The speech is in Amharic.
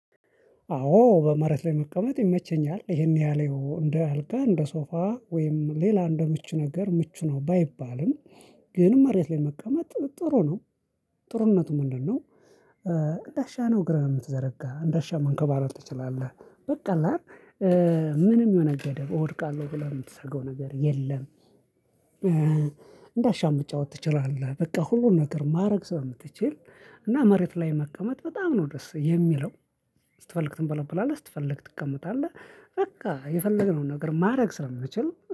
አዎ በመሬት ላይ መቀመጥ ይመቸኛል ይሄን ያህል ያው እንደ አልጋ እንደ ሶፋ ወይም ሌላ እንደ ምቹ ነገር ምቹ ነው ባይባልም ግን መሬት ላይ መቀመጥ ጥሩ ነው። ጥሩነቱ ምንድነው? እንዳሻህ ነው እግር የምትዘረጋ እንደሻ መንከባለል ትችላለህ በቃ ምንም ሆነ ገደል እወድቃለሁ ብለህ የምትሰገው ነገር የለም። እንዳሻህ መጫወት ትችላለህ በቃ ሁሉን ነገር ማድረግ ስለምትችል እና መሬት ላይ መቀመጥ በጣም ነው ደስ የሚለው። ስትፈልግ ትንበለበላለህ ስትፈልግ ትቀመጣለህ በቃ የፈለገነውን ነገር ማድረግ ስለምንችል